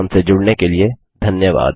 हमसे जुड़ने के लिए धन्यवाद